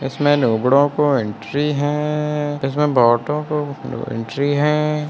इसमें को एंट्री हैं इसमें बहुतों को एंट्री हैं।